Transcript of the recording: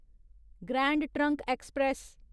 grand Trunk express